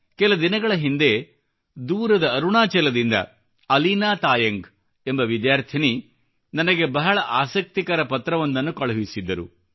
ಕೆಲ ದಿನಗಳ ಹಿಂದೆ ದೂರದ ಅರುಣಾಚಲದಿಂದ ಅಲೀನಾ ತಾಯಂಗ್ ಎಂಬ ವಿದ್ಯಾರ್ಥಿನಿ ನನಗೆ ಬಹಳ ಆಸಕ್ತಿಕರ ಪತ್ರವೊಂದನ್ನು ಕಳುಹಿಸಿದ್ದರು